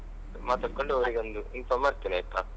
ಮಾತಾಡ್ಕೊಂಡು ಅವ್ರಿಗೊಂದು inform ಮಾಡ್ತೇನೆ ಆಯ್ತಾ?